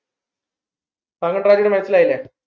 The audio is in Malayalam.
വാഗൺ tragedy മനസ്സിലായില്ലേ